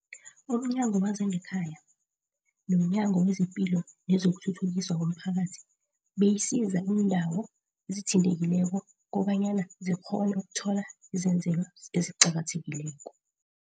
UmNyango wezangeKhaya, nomNyango wezePilo nezokuThuthukiswa komPhakathi beyisiza iindawo ezithintekileko kobanyana zikghone ukuthola izenzelwa eziqakathekileko.